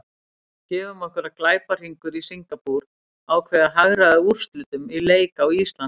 Gefum okkur að glæpahringur í Singapúr ákveði að hagræða úrslitum í leik á Íslandi.